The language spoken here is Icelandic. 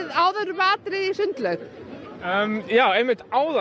áður með atriði í sundlaug áðan